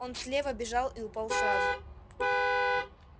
он слева бежал и упал сразу